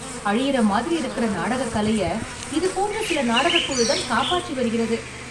அழிற மாதிரி இருக்கிற நாடக கலைய இது போன்ற சில நாடகக் குழுதான் காப்பாற்றி வருகிறது